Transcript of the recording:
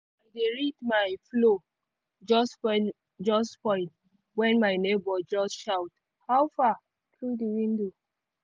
read my flow just spoil just spoil when my neighbor just shout 'how far' through the window